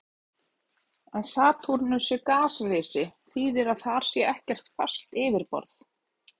Að Satúrnus sé gasrisi þýðir að þar er ekkert fast yfirborð.